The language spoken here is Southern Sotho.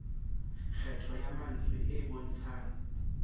kgetho ya mantswe e bontshang